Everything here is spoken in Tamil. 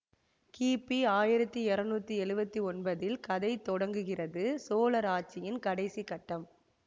கிபி ஆயிரத்தி இறைநூற்றி எழுவத்தி ஒன்பதில் கதை தொடங்குகிறது சோழர் ஆட்சியின் கடைசி கட்டம்